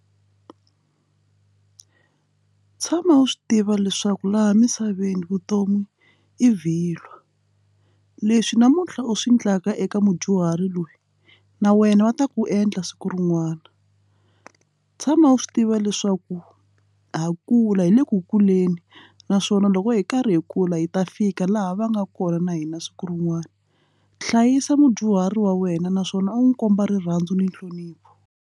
Tshama u swi tiva leswaku laha misaveni vutomi i vhilwa leswi namuntlha u swi endlaka eka mudyuhari loyi na wena va ta ku endla siku rin'wana tshama u swi tiva leswaku ha kula hi le ku kuleni naswona loko hi karhi hi kula hi ta fika laha va nga kona na hina siku rin'wana hlayisa mudyuhari wa wena naswona u n'wi komba rirhandzu ni nhlonipho.